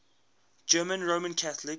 german roman catholics